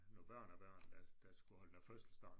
Nogle børnebørn der der skulle holde noget fødselsdag